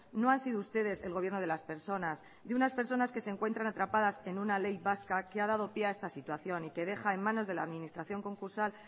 no ha sido ustedes el gobierno de las personas de unas personas que se encuentran atrapadas en una ley vasca que ha dado pie a esta situación y que deja en manos de la administración concursal